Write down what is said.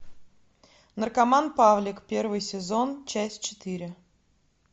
наркоман павлик первый сезон часть четыре